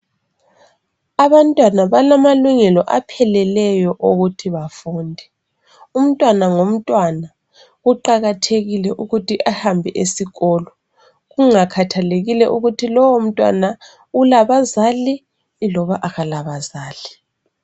abantwana balamalungelo apheleleyo ukuthi bafunde umntwana lomntwana kuqakathekile ukuthi ahambe esikolo kungakhathakelile ukuba loo mntwana ulabazali loba akala bazali